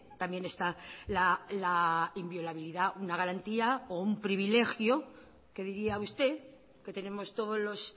también está la inviolabilidad una garantía o un privilegio que diría usted que tenemos todos los